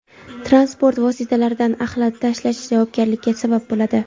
Transport vositalaridan axlat tashlash javobgarlikka sabab bo‘ladi.